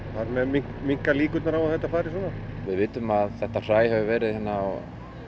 þar með minnka líkurnar á að þetta fari svona við vitum að þetta hræ hefur verið á